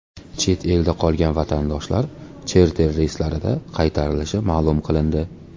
Chet elda qolgan vatandoshlar charter reyslarida qaytarilishi ma’lum qilindi.